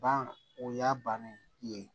Ban o y'a bannen ye